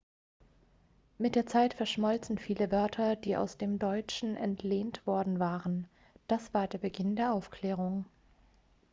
mit der zeit verschmolzen viele wörter die aus dem deutschen entlehnt worden waren das war der beginn der aufklärung